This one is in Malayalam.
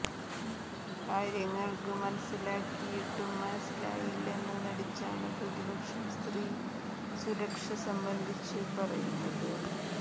കാര്യങ്ങള് മനസിലാക്കിയിട്ടും മനസിലായില്ലെന്നു നടിച്ചാണ് പ്രതിപക്ഷം സ്ത്രീ സുരക്ഷ സംബന്ധിച്ച് പറയുന്നത്